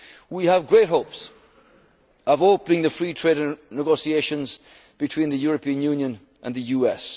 how important this is. We have great hopes of opening the free trade negotiations between the European